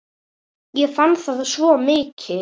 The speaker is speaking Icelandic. Ég fann það svo mikið.